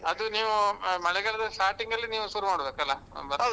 ಅದು ನೀವೂ, ಮಳೆಗಾಲದ starting ಅಲ್ಲಿ ನೀವು ಶುರು ಮಾಡ್ಬೇಕಲ್ಲಾ ಭತ್ತ ಎಲ್ಲ.